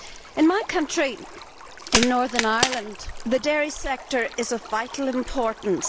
In my country, in Northern Ireland, the dairy sector is of vital importance.